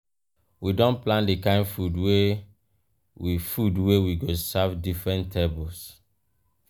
we don plan di kain food wey we food wey we go serve different tables.